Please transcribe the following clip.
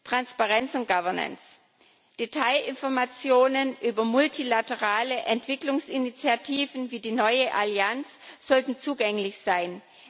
Transparenz und Governance Detailinformationen über multilaterale Entwicklungsinitiativen wie die neue Allianz sollten zugänglich sein.